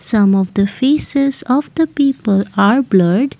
some of the faces of the people are blurred.